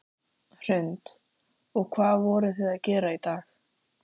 Hrund: Og hvað voruð þið að gera í dag?